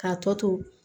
K'a tɔ to